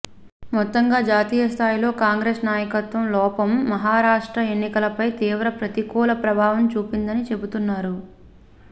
మొత్తంగా జాతీయ స్థాయిలో కాంగ్రెస్ నాయకత్వం లోపం మహారాష్ట్ర ఎన్నికలపై తీవ్ర ప్రతికూల ప్రభావం చూపిందని చెబుతున్నారు